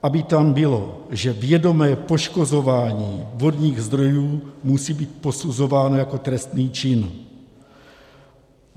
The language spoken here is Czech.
Aby tam bylo, že vědomé poškozování vodních zdrojů musí být posuzováno jako trestný čin.